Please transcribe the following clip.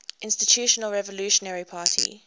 institutional revolutionary party